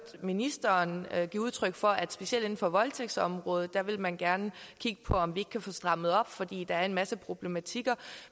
ministeren give udtryk for at specielt inden for voldtægtsområdet vil man gerne kigge på om vi ikke kan få strammet op fordi der er en masse problematikker